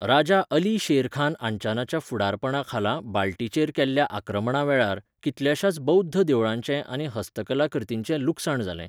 राजा अली शेरखान आंचानाच्या फुडारपणाखाला बाल्टीचेर केल्ल्या आक्रमणावेळार, कितल्याशाच बौद्ध देवळांचें आनी हस्तकलाकृतिंचें लुकसाण जालें.